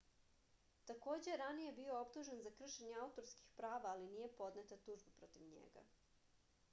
takođe je ranije bio optužen za kršenje autorskih prava ali nije podneta tužba protiv njega